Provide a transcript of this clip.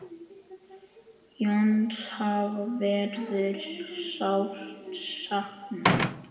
Jóns afa verður sárt saknað.